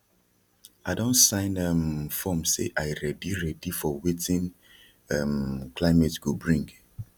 l don sign um form say i ready ready for wetin um climate go bring